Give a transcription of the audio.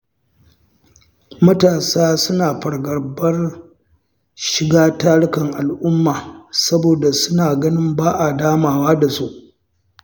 Matasa suna fargabar shiga tarukan al’umma saboda suna ganin ba a damawa da su.